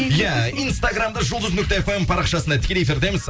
иә инстаграмда жұлдыз нүкте фм парақшасында тікелей эфирдеміз